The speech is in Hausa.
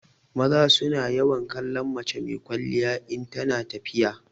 Maza su na yawan kallon mace mai kwalliya in tana tafiya.